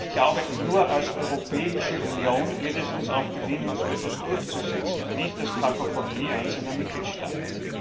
Ich glaube, nur als Europäische Union wird es uns auch gelingen, so etwas durchzusetzen, und nicht als Kakofonie einzelner Mitgliedstaaten.